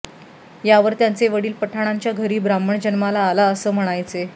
यावर त्यांचे वडील पठाणांच्या घरी ब्राह्मण जन्माला आला असं म्हणायचे